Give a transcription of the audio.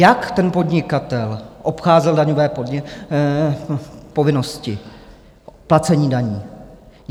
Jak ten podnikatel obcházel daňové povinnosti placení daní?